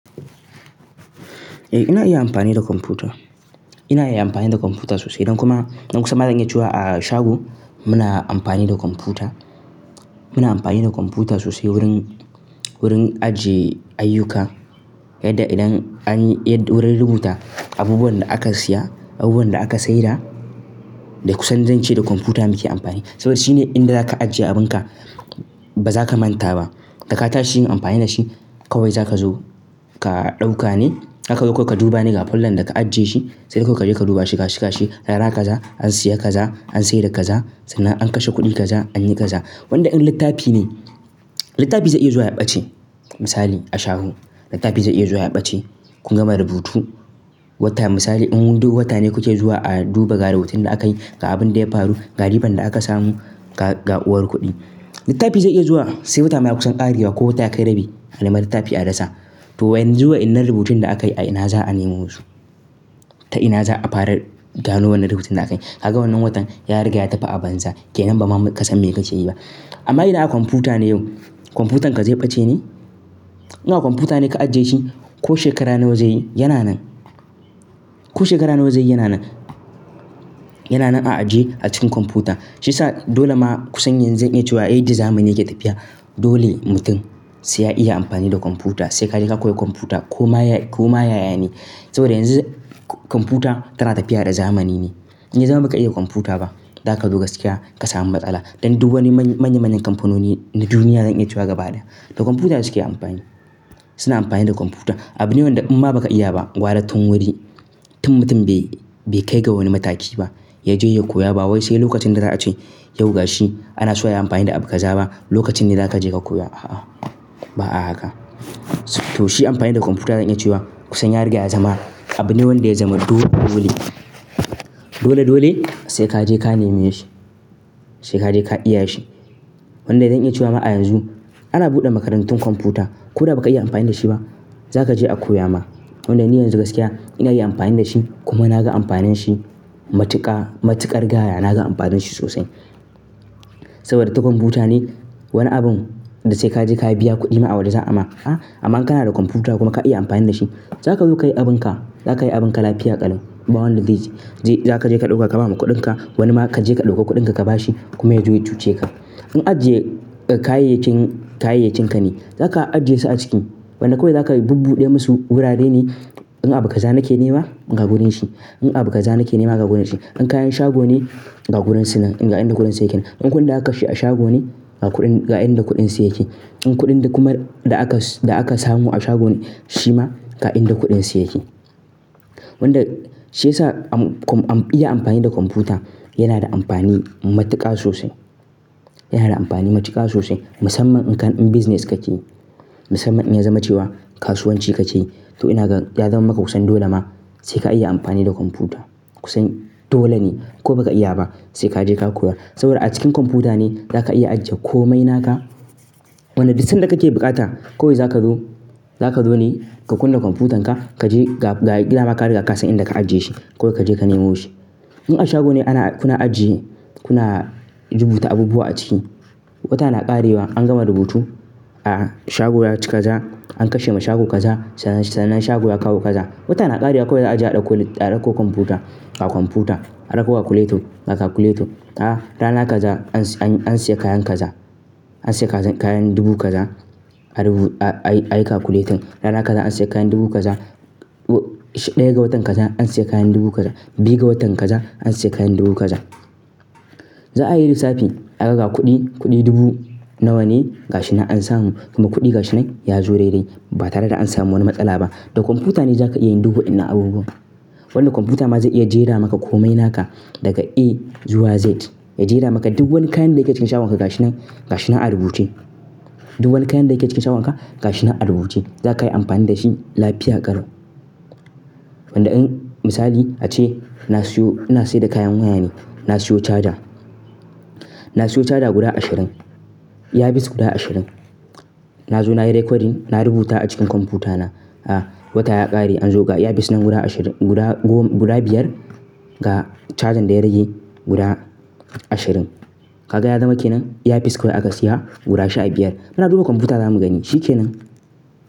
Ina iya amfani da kwamfuta. Ina iya amfani da kwamfuta sosai don kuma, don kusan zan iya cewa a shago muna amfani da kwamfuta. Muna amfani da kwamfuta sosai wurin, wurin ajiye ayyuka yadda idan an yi, yadda wurin rubuta abubuwan da aka siya, abubuwan da aka saida, da kusan zan ce da kwamfuta muke amfani. Saboda shi ne inda zaka ajiye abinka ba zaka manta ba. Da ka tashi yin amfani da shi kawai zaka zo ka ɗauka ne, zaka zo kawai ka duba ne ga fallan da ka ajiye shi. Saidai kawai kaje ka duba shi, gashi gashi, rana kaza an siya kaza, an sayar da kaza, sannan an kashe kuɗi kaza, anyi kaza. Wanda in littafi ne, littafi zai iya zuwa ya ɓace. Misali a shago littafi zai iya zuwa ya ɓace. Kun gama rubutu wata misali in duk wata ne kuke zuwa a duba ga rubutun da akayi ga abin da ya faru, ga riban da aka samu ga, ga uwar kuɗi. Littafi zai iya zuwa sai wata ma ya kusan ƙarewa ko wata yakai rabi, a nema littafi a rasa. To yanzu wanyannan rubutun da akayi a ina za a nemo su? Ta ina za'a fara gano wannan rubutun da akayi? Kaga wannan watan ya riga ya tafi a banza kenan ba ma ka san me kake yi ba. Amma idan a kwamfuta ne yau, kwamfutarka zai ɓace ne? Ina a kwamfuta ne ka ajiye shi ko shekara nawa zai yi yana nan. Ko shekara nawa zai yi yana nan. Yana nan a ajiye a cikin kwamfuta. Shiyasa dole ma kusan yanzu zan iya cewa a yadda zamani yake tafiya dole mutum sai ya iya amfani da kwamfuta sai ka je ka koyi kwamfuta ko ma ya, ko ma yaya ne. Saboda yanzu kwamfuta tana tafiya da zamani ne. In ya zama baka iya kwamfuta ba zaka zo gaskiya ka samu matsala. Don duk wani manya manyan kamfanoni na duniya zan iya cewa gaba ɗaya da kwamfutane suke amfani. Suna amfani da kwamfuta. Abune wanda in ba ka iya ba gwara tun wari, tun mutum bai, bai kai ga wani mataki ba ya je ya koya ba wai sai lokacin da za a ce yau ga shi ana so ya yi amfani da abu kaza ba, lokacin ne zaka je ka koya, a'a ba'a haka. To shi amfani da kwamfuta zan iya cewa kusan ya riga ya zama abune wanda ya zama dole dole. Dole dole sai kaje ka nemi shi. Sai kaje ka iya shi. Wanda zan iya cewa ma a yanzu ana buɗe makarantun kwamfuta ko da ba ka iya amfani da shi ba zaka je a koya ma. Wanda ni yanzu gaskiya ina iya amfani da shi kuma naga amfanin shi matuƙa, matuƙar gaya naga amfanin shi sosai. Saboda ta kwamfuta ne wani abun da sai kaje ka biya kuɗi ma a waje za a ma, amma kana da kwamfuta kuma ka iya amfani da shi zaka zo ka yi abinka, za ka yi abinka lafiya ƙalau. Ba wanda ze je, za kaje ka ɗauka ka ba mu kuɗinka wani ma kaje ka ɗauka kuɗinka ka bashi kuma ya je ya cuce ka. In ajiye kayayyakin, kayayyakinka ne zaka ajiye su a ciki. Wanda kawai za ka bubbuɗe musu wurare ne in abu kaza nake nema ga wurin shi. In abu kaza nake nema ga wurin shi. In kayan shago ne ga gurin su nan, ga inda gurin su yake nan. In kudin da aka kashe a shago ne ga kuɗin, ga inda kuɗin su yake. In kuɗin da kuma da aka, da aka samu a shago shi ma ga inda kuɗin su yake. Wanda shiyasa iya amfani da kwamfuta yana da amfani matuƙa sosai. Yana da amfani matuƙa sosai musamman in ka, in business kake yi. Musamman in ya zama cewa kasuwanci kake yi to ina ga, ya zama maka kusan dole ma sai ka iya amfani da kwamfuta. Kusan dole ne ko baka iya ba sai kaje ka koya. Saboda a cikin kwamfuta ne za ka iya ajiye komai naka. Wanda duk sanda kake buƙata kawai zaka zo, za ka zo ne ka kunna kwamfutanka kaje ga, ga gida dama ka riga ka san inda ka ajiye shi. Kawai kaje ka nemo shi. In a shago ne ana, kuna ajiye, kuna rubuta abubuwa a ciki, wata na ƙarewa an gama rubutu, a'a shago ya ci kaza, an kashe ma shago kaza sannan, sannan shago ya kawo kaza. Wata na ƙarewa kawai za a je a ɗauko, a ɗauko kwamfuta, a kwamfuta a ɗauko calculator, a calculator. Rana kaza an, an siya kayan kaza. An siya kayan dubu kaza. A rubu, a yi, a yi calculating. Rana kaza an siya kayan dubu kaza. Ɗaya ga watan kaza an siya kayan dubu kaza. Biyu ga watan kaza an siya kayan dubu kaza. Za a yi lissafi aga ga kuɗi, kuɗi dubu nawa ne ga shi nan an samu kuma kuɗi ga shi nan ya zo daidai ba tare da an samu wani matsala ba. Da kwamfuta ne za ka iya yin duk wannan abubuwan. Wanda kwamfuta ma zai iya jera maka komai naka daga A zuwa Z. Ya jera maka duk wani kayan da yake cikin shagon ka ga shi nan, ga shi nan a rubuce. Duk wani kayan da yake cikin shagon ka ga shi nan a rubuce. Za ka yi amfani da shi lafiya ƙalon. Wanda in misali ace na siyo, ina saida kayan waya ne, na siyo charger. Na siyo charger guda ashirin. Earpiece guda ashirin. Na zo na yi recording, na rubuta a cikin kwamfutana. Wata ya ƙare anzo ga earpiece nan guda ashirin, guda, guda biyar ga charger da ya rage guda ashirin. Ka ga ya zama kenan? Earpiece kawai aka siya guda sha biyar. Muna duba kwamfuta zamu gani shi kenan.